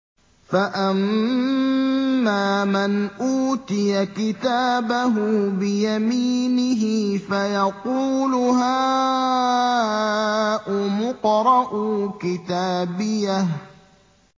فَأَمَّا مَنْ أُوتِيَ كِتَابَهُ بِيَمِينِهِ فَيَقُولُ هَاؤُمُ اقْرَءُوا كِتَابِيَهْ